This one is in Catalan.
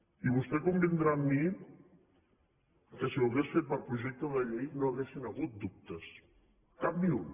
i vostè convindrà amb mi que si ho hagués fet per projecte de llei no hi haurien hagut dubtes cap ni un